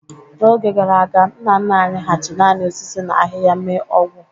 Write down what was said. N'oge gara aga, nna nna anyị hà ji naanị osisi na ahịhịa mee ọgwj